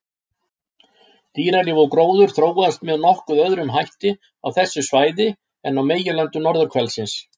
Dýralíf og gróður þróaðist með nokkuð öðrum hætti á þessu svæði en á meginlöndum norðurhvelsins.